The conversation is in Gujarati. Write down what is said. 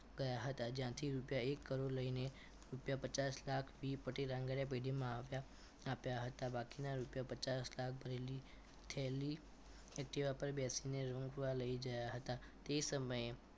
ગયા હતા જ્યાંથી રૂપિયા એક કરોડ લઈને રૂપિયા પચાસ લાખ P પટેલ આંગણીયા પેઢી આપ્યા આપ્યા હતા અને બાકીના રૂપિયા પચાસ લાખ ભરેલી થેલી activa પર બેસીને રૂમ પર લઈ ગયા હતા તે સમયે